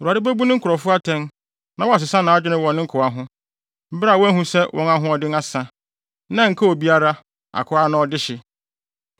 Awurade bebu ne nkurɔfo atɛn na wasesa nʼadwene wɔ ne nkoa ho, bere a wahu sɛ wɔn ahoɔden asa, na ɛnkaa obiara, akoa anaa ɔdehye.